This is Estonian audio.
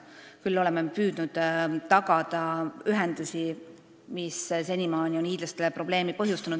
Küll oleme me püüdnud tagada ühendusi, mille puudumine on senimaani hiidlastele probleeme põhjustanud.